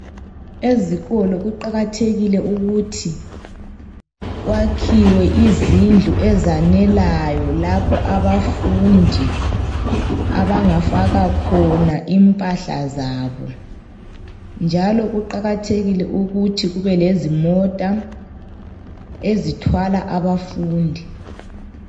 Ezikolo kuqakathekile ukuthi kwakhiwe izindlu ezanelayo lapha abafundi abangafaka khona impahla zabo, njalo kuqakathekile ukuthi kube lezimota ezithwala abafundi.